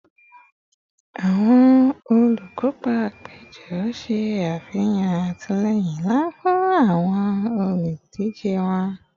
Awọn olukopa apejọ ṣe afihan atilẹyin nla fun awọn oludije wọn